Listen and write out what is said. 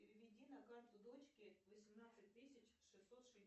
переведи на карту дочке восемнадцать тысяч шестьсот